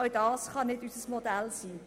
Auch das kann nicht unser Modell sein.